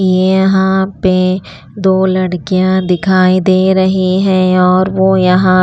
ये यहाँ पे दो लड़कियां दिखाई दे रही हैं और वो यहाँ--